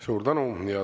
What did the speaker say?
Suur tänu!